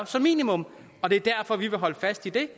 som minimum og det er derfor vi vil holde fast i det